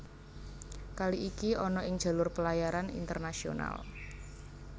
Kali iki ana ing jalur pelayaran internasional